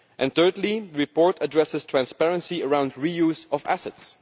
Third, the report addresses transparency around re use of assets.